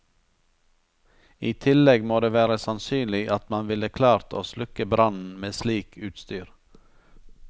I tillegg må det være sannsynlig at man ville klart å slukke brannen med slik utstyr.